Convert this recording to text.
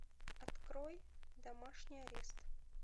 открой домашний арест